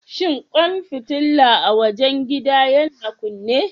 Shin kwan fitila a wajen gidan yana kunne?